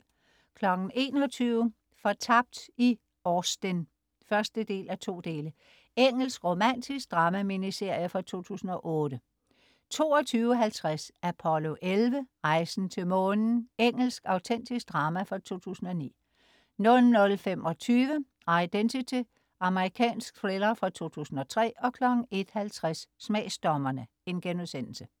21.00 Fortabt i Austen 1:2. Engelsk romantisk drama-miniserie fra 2008 22.50 Apollo 11. Rejsen til månen. Engelsk autentisk drama fra 2009 00.25 Identity. Amerikansk thriller fra 2003 01.50 Smagsdommerne*